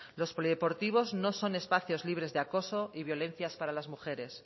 los polideportivos no son espacios libres de acoso y violencias para las mujeres